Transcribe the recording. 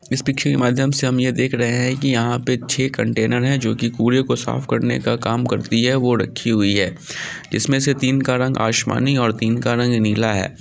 इस पिक्चर के माध्यम से हम ये देख रहे है की यहाँ पर छे कंटेनर है जो कि कूड़े को साफ़ करने का काम करती है वो रखी हुई है। इसमें तीन का रंग आसमानी और तीन का रंग नीला है।